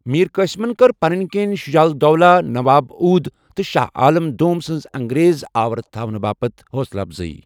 میر قاسمن كٕر پنٕنہِ كِنہِ شجاع الدولہ نواب اودھ تہٕ شاہ عالم دوم سٕنز انگریز آۄٕرِٕ تھونہٕ باپتھ حوصلہٕ افضٲیی ۔